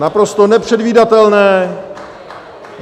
Naprosto nepředvídatelné.